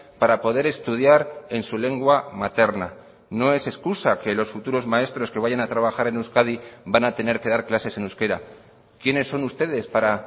para poder estudiar en su lengua materna no es excusa que los futuros maestros que vayan a trabajar en euskadi van a tener que dar clases en euskera quiénes son ustedes para